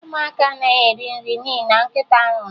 Ụmụaka anaghị eri nri n'ihi na nkịta nwụrụ